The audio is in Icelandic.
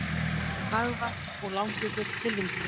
Hagavatn og Langjökull til vinstri.